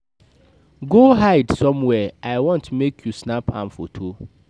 Go hide somewhere, I want make you snap am photo